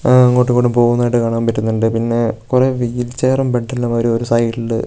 ങ്ങാ അങ്ങോട്ടു മിങ്ങോട്ടും പോകുന്നതായിട്ട് കാണാൻ പറ്റുന്നുണ്ട് പിന്നെ കുറെ വീൽചെയറും ബെഡ് എല്ലാം ഒര് ഒരു സൈഡില് --